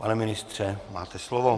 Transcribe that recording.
Pane ministře, máte slovo.